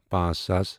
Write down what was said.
پانژھ ساس